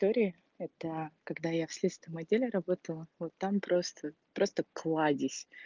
истории это когда я в следственном отделе работал вот там просто просто кладезь